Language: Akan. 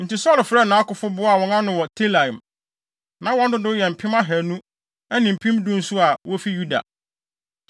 Enti Saulo frɛɛ nʼakofo boaa wɔn ano wɔ Telaim. Na wɔn dodow yɛ mpem ahannu ne mpem du nso a wofi Yuda.